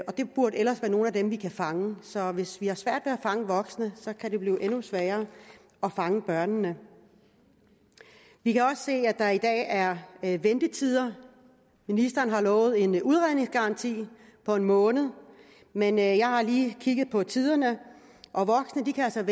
det burde ellers være nogle af dem vi kan fange så hvis vi har svært ved at fange voksne kan det blive endnu sværere at fange børnene vi kan også se at der i dag er ventetider ministeren har lovet en udredningsgaranti på en måned men jeg jeg har lige kigget på tiderne og voksne kan